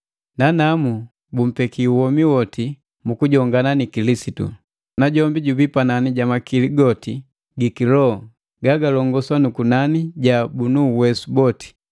nanamu bumpeki womi woti mu kujongana ni Kilisitu. Najombi jubii panani ja makili goti gi kiloho gagalongosa na kunani ja bunu uwesu boti.